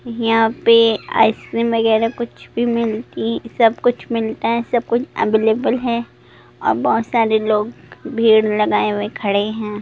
यहां पर आइसक्रीम वगैरह कुछ भी मिलती है सब कुछ मिलता है सब कुछ अवेलेबल है और बहुत सारे लोग भीड़ लगाए हुए खड़े हैं।